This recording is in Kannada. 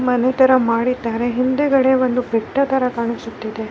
ಮನೆ ತರ ಮಾಡಿದಾರೆ ಹಿಂದೆಗಡೆ ಒಂದು ಬೆಟ್ಟ ತರ ಕಾಣಿಸುತ್ತಿದೆ.